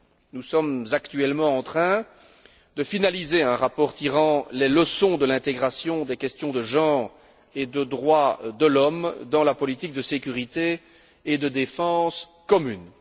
Nous sommes actuellement en train de finaliser un rapport tirant les leçons de l'intégration des questions de genre et de droits de l'homme dans la politique de sécurité et de défense commune.